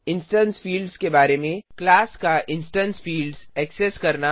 instance fields के बारे में क्लास का इंस्टेंस फिल्ड्स ऐक्सेस करना